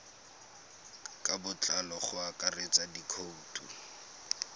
ka botlalo go akaretsa dikhoutu